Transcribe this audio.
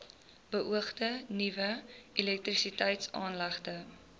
beoogde nuwe elektrisiteitsaanlegte